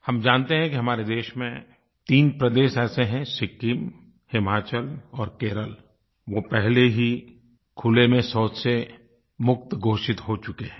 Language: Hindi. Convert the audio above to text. हम जानते हैं कि हमारे देश में तीन प्रदेश ऐसे हैं सिक्किम हिमाचल और केरल वो पहले ही खुले में शौच से मुक्त घोषित हो चुके हैं